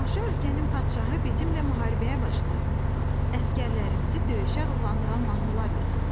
"Qonşu ölkənin padşahı bizimlə müharibəyə başlayıb, əsgərlərimizi döyüşə ruhlandıran mahnılar yaz."